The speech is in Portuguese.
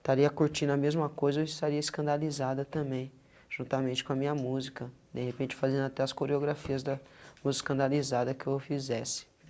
estaria curtindo a mesma coisa ou estaria escandalizada também, juntamente com a minha música, de repente fazendo até as coreografias da música escandalizada que eu fizesse.